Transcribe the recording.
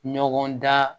Ɲɔgɔndan